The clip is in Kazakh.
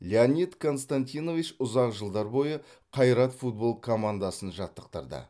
леонид константинович ұзақ жылдар бойы қайрат футбол командасын жаттықтырды